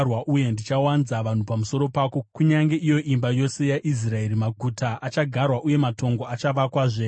uye ndichawanza vanhu pamusoro pako, kunyange iyo imba yose yaIsraeri. Maguta achagarwa uye matongo achavakwazve.